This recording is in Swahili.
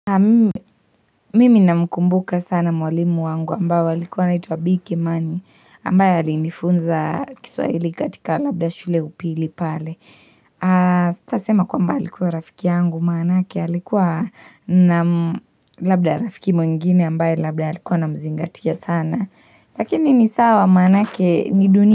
Naam mimi namkumbuka sana mwalimu wangu ambaye alikuwa anaitwa Bii Kimani ambaye alinifunza kiswahili katika labda shule ya upili pale. Sitasema kwamba alikuwa rafiki yangu maanake alikuwa nam labda rafiki mwingine ambaye labda alikuwa anamzingatia sana Lakini ni sawa maanake ni dunia.